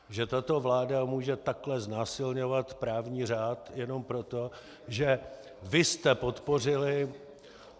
Že tato vláda může takhle znásilňovat právní řád jenom proto, že vy jste podpořili...